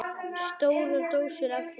Stórar dósir af þeim.